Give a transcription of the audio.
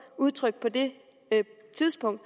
udtrykte på det tidspunkt